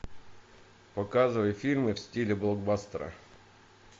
показывай фильмы в стиле блокбастера